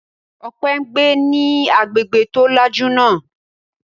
Ọpẹ́ ń gbé ní agbègbè tó lajú náà.